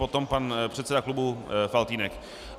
Potom pan předseda klubu Faltýnek.